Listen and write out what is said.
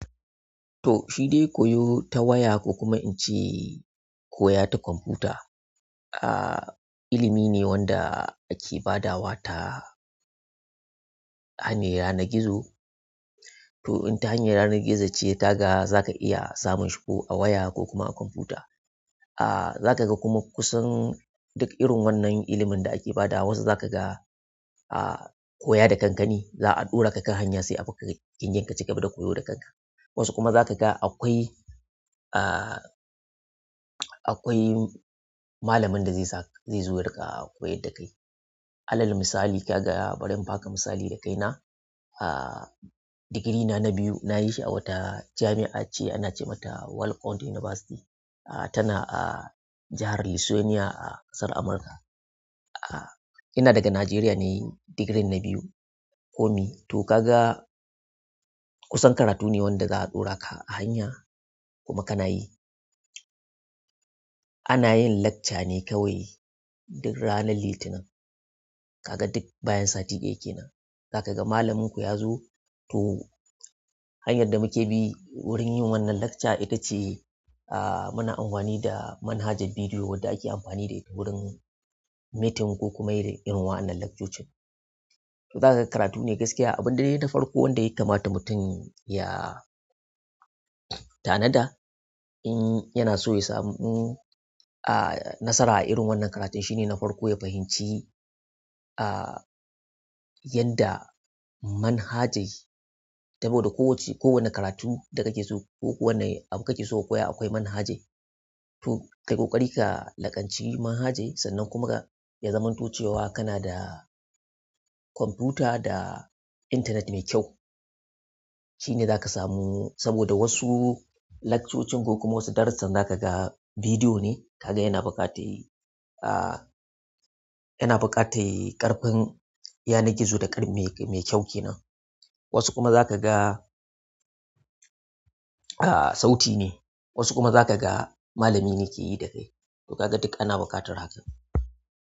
To, shi dai koyo ta waya ko kuma in ce koya ta kwamfuta, ah, ilimi ne wanda ake badawa ta hanyar yanar gizo. To, in ta hanyar yanar gizo ce ya kaga zaka iya samun shuku a waya ko kuma a kwamfuta. Ah zaka ga kuma kusan duk irin wannan ilimin da ake badawa wasu zaka ga ah koya da kanka ne za'a ɗora ka kan hanya sai kaci gaba da koyo da kan ka wasu kuma za ka ga akwai, ah, akwai malamin da zai sa-- zai zo ya riƙa koyar da kai. Alal misali, ka ga bari in baka misali da kaina. Ah, digiri na na biyu na yi shi a wata jami'a ce ana ce mata Walpont University. Ah, tana a jahar Louisiana a ƙasar Amurka. Ah, ina daga Najeriya nayi digirin na biyu. Komi to ka ga kusan karatu ne wanda za a ɗora ka a hanya kuma kana yi. Ana yin lakca ne kawai duk ranar Litinin. Ka ga duk bayan sati ɗaya kenan. Zaka ga malamin ku ya zo. To, hanyar da muke bi wurin yin wannan lakca ita ce, ah, muna amfani da manhajar bidiyo wadda ake amfani da ita wurin meeting ko kuma yi da irin wa'annan lakcocin. To za ka ga karatu ne gaskiya. Abin dai na farko wanda ya kamata mutum ya tanada in yana so ya samu, ah, nasara a irin wannan karatun shine na farko ya fahimci, ah, yadda manhajai saboda kowace-- kowane karatu da kake so ko wane abu kake so ka koya akwai manhajai. To, kai ƙoƙari ka laƙanci manhajai sannan kuma ya zamanto cewa kana da kwamfuta da intanet mai kyau. Shine zaka samu saboda wasu lakcocin ko kuma wasu darussan zaka ga bidiyo ne kaga yana buƙatar, ah, yana buƙatar ƙarfin, yanar gizo da ƙarfi mai, mai kyau kenan. Wasu kuma za ka ga, ah, sauti ne. Wasu kuma za ka ga malami ne yake yi da kai. To kaga duk ana buƙatar haka.